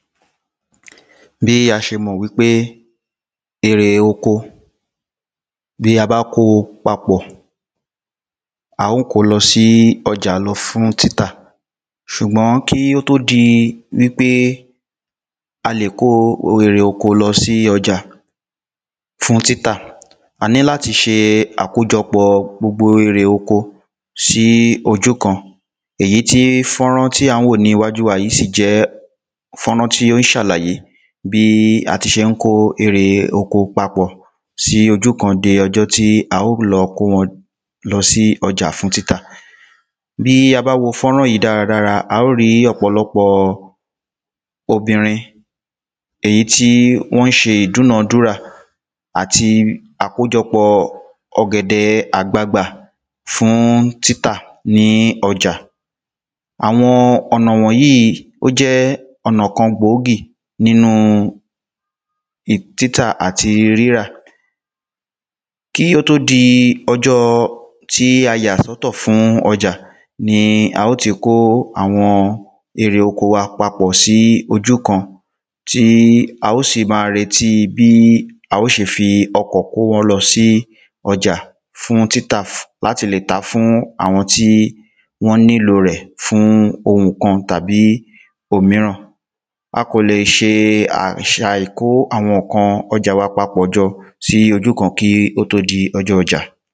Bí a s̩e mò̩ wípé èrè oko bí a bá ko papò̩, a ó ko lo̩ sí o̩jà lo̩ fún títà. S̩ùgbó̩n kí ó tó di wípé a lè kó ire oko lo̩ sí o̩jà fún títà, a ní láti s̩e àkójo̩pò̩ gbogbo irè oko sí oju kan èyí tí fánrán tí à ń wò ní iwájú wa yìí sì jé̩ fánrán tí ó s̩àlàyé bí a ti s̩e n kó erè oko papò̩ sí ojú kan di o̩jó̩ tí a ó lo̩ kó wo̩n lo̩ sí o̩jà fún títà. Bí a bá wo fánrán yi dáradára, a ó rí o̩po̩ló̩po̩ obìnrin èyi tí wó̩n s̩e dúnò̩ dúwà àti àkójo̩pò̩ o̩gè̩de̩ àgbagbà fún títà ní o̩jà. Àwo̩n ò̩nà wò̩n yíì, ó jé̩ o̩nà kan gbòógì nínu um títà àti rírà. Kí ó tó di o̩jó̩ tí a yà só̩tò̩ fún o̩jà, ni a ó ti kó àwo̩n èrè oko wa papò̩ sí ojú kan tí a ó sì má a retí bí a ó s̩e fi o̩kò̩ kó wo̩n lo̩ sí ò̩jà fún títà um láti lè tà fún àwo̩n tí wón nílo rè̩ fún ohùn kan tàbí òmíràn. A kò lè s̩e um kó àwo̩n ǹkan o̩jà wa papò̩ jo̩ sí ojú kan kí ó tó di o̩jó̩ ojà.